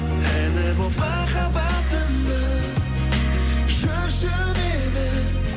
әні болып махаббатымның жүрші менің